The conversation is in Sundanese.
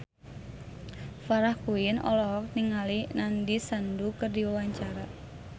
Farah Quinn olohok ningali Nandish Sandhu keur diwawancara